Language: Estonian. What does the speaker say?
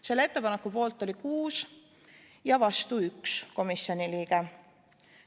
Selle ettepaneku poolt oli 6 ja vastu 1 komisjoni liige.